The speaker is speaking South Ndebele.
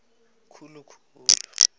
khulu khulu